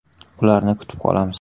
Ularni kutib qolamiz.